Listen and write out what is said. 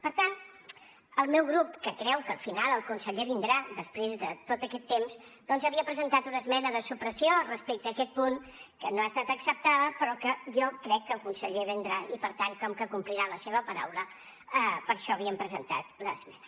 per tant el meu grup que creu que al final el conseller vindrà després de tot aquest temps havia presentat una esmena de supressió respecte a aquest punt que no ha estat acceptada però que jo crec que el conseller vindrà i per tant com que complirà la seva paraula per això havíem presentat l’esmena